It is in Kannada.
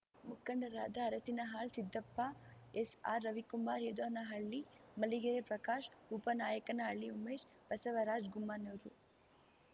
ಮುಖಂಡರಾದ ಅರಸಿನಹಾಳ್‌ ಸಿದ್ದಪ್ಪ ಎಸ್‌ಆರ್‌ರವಿಕುಮಾರ್ ಯದೋನಹಳ್ಳಿ ಮಲ್ಲಿಗೆ ಪ್ರಕಾಶ್ ಉಪ ನಾಯಕನಹಳ್ಳಿ ಉಮೇಶ್ ಬಸವರಾಜ್ ಗುಮ್ಮನೂರು